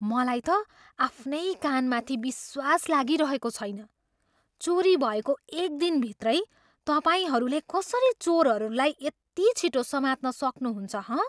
मलाई त आफ्नै कानमाथि विश्वास लागिरहेको छैन। चोरी भएको एक दिनभित्रै तपाईँहरूले कसरी चोरहरूलाई यति छिटो समात्न सक्नुहुन्छ, हँ?